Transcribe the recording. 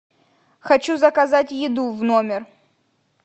хочу заказать еду в номер